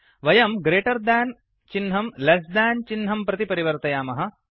वयम् greater than greater than चिह्नम् less than less than चिह्नं प्रति परिवर्तयामः